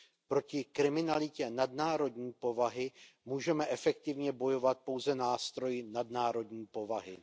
Proti kriminalitě nadnárodní povahy můžeme efektivně bojovat pouze nástroji nadnárodní povahy.